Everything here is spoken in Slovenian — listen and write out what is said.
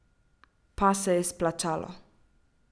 Pa se je splačalo!